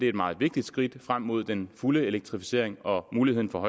et meget vigtigt skridt frem mod den fulde elektrificering og muligheden for